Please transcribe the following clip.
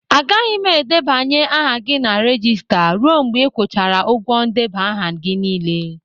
Agaghị m edebanye aha gị na regista ruo mgbe ị kwụchara ụgwọ ndeba aha gị niile.